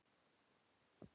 Þín, Jón og Anna.